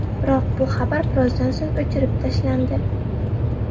Biroq bu xabar birozdan so‘ng o‘chirib tashlandi.